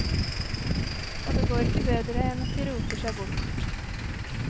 Og det går ikke bedre enn at de roter seg bort.